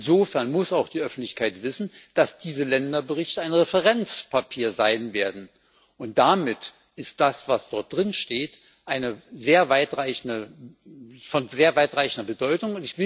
Insofern muss auch die Öffentlichkeit wissen, dass diese Länderberichte ein Referenzpapier sein werden, und damit ist das, was darin steht, von sehr weitreichender Bedeutung.